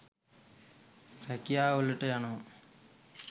රැකියාවලට යනවා.